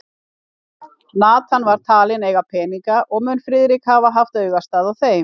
Nathan var talinn eiga peninga, og mun Friðrik hafa haft augastað á þeim.